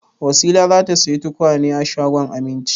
Wasila za ta sayi tukwane a shagon Aminci.